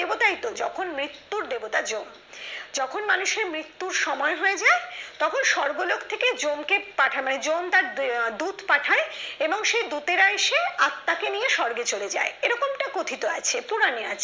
তাইতো যখন মৃত্যুর দেবতা যম। যখন মানুষের মৃত্যুর সময় হয়ে যায় তখন স্বর্গলোক থেকে যমকে পাঠায় মানে যম তার এর দূত পাঠায় এবং সে দূতেরা এসে আত্মাকে নিয়ে স্বর্গে চলে যায়। এরকমটা কথিত আছে পুরাণে